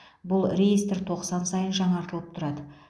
бұл реестр тоқсан сайын жаңартылып тұрады